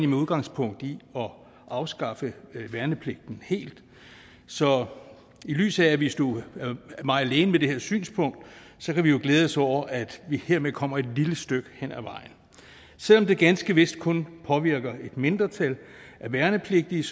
med udgangspunkt i at afskaffe værnepligten helt så i lyset af at vi stod meget alene med det her synspunkt kan vi jo glæde os over at vi hermed kommer et lille stykke hen ad vejen selv om det ganske vist kun påvirker et mindretal af værnepligtige